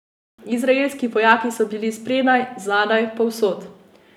Izraelski vojaki so bili spredaj, zadaj, povsod!